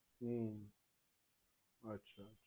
હમ અચ્છા